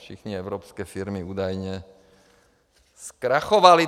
Všechny evropské firmy údajně zkrachovaly.